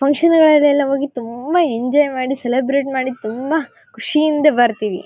Function ಗಳಲ್ಲಿ ಎಲ್ಲ ಹೋಗಿ ತುಂಬಾ ಎಂಜಾಯ್ ಮಾಡಿ ಸೆಲೆಬ್ರೆಟ್ ಮಾಡಿ ತುಂಬಾ ಖುಷಿಯಿಂದ ಬರ್ತೀವಿ.